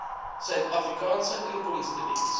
suid afrikaanse inkomstediens